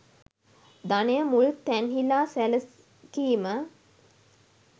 ධනය මුල් තැන්හිලා සැලකීම